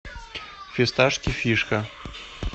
фисташки фишка